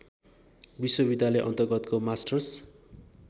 विश्वविद्यालय अन्तर्गतको मास्टर्स